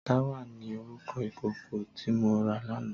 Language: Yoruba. Tàwá ni órúkò ikókó ti mó rá làná